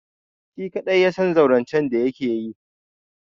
Shi kaɗai ya san zaurancen da yake yi.